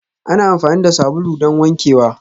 Ana amfani da sabulu don wankewa